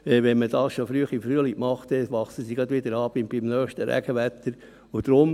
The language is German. Wenn man dies schon früh im Frühling macht, wächst es beim nächsten Regenwetter gleich wieder an.